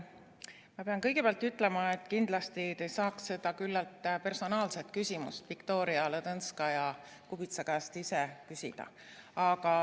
Ma pean kõigepealt ütlema, et kindlasti te saaksite seda küllalt personaalset küsimust ka Viktoria Ladõnskaja-Kubitsa enda käest küsida.